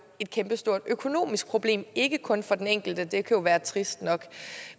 et kæmpe stort økonomisk problem ikke kun for den enkelte for det kan være trist nok